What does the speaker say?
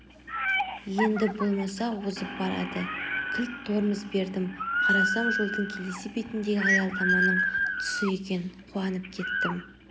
енді болмаса озып барады кілт тормоз бердім қарасам жолдың келесі бетіндегі аялдаманың тұсы екен қуанып кеттім